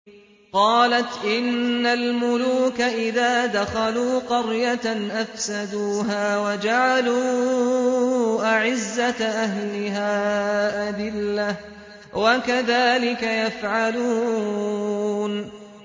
قَالَتْ إِنَّ الْمُلُوكَ إِذَا دَخَلُوا قَرْيَةً أَفْسَدُوهَا وَجَعَلُوا أَعِزَّةَ أَهْلِهَا أَذِلَّةً ۖ وَكَذَٰلِكَ يَفْعَلُونَ